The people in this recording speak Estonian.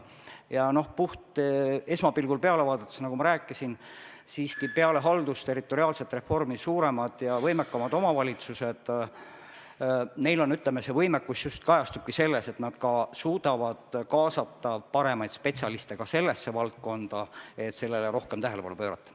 Ja esmapilgul peale vaadates, nagu ma rääkisin, kajastubki peale haldusterritoriaalset reformi suuremate ja võimekamate omavalitsuste võimekus just selles, et nad suudavad kaasata paremaid spetsialiste ka sellesse valdkonda, sellele rohkem tähelepanu pöörata.